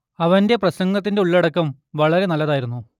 അവന്റെ പ്രസംഗത്തിന്റെ ഉള്ളടക്കം വളരെ നല്ലതായിരുന്നു